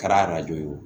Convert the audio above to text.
Kɛra ye o